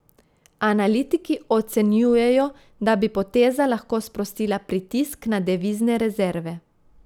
Analitiki ocenjujejo, da bi poteza lahko sprostila pritisk na devizne rezerve.